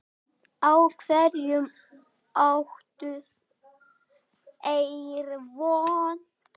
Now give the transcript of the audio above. Á hverju áttu þeir von?